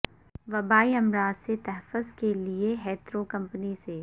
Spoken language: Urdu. وبائی امراض سے تحفظ کے لیے ہیترو کمپنی سے